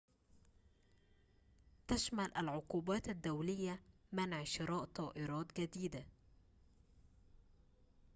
تشمل العقوبات الدولية منع شراء طائرات جديدة